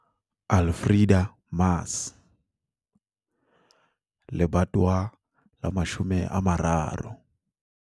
Alfreda Mars - Lebatowa la 30